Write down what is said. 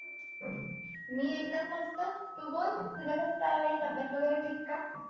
मी एकदम मस्त. तू बोल, तुझं कस चाललंय? तब्येत वगैरे ठीक का?